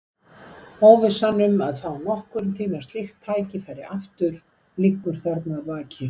Óvissan um að fá nokkurn tíma slíkt tækifæri aftur liggur þarna að baki.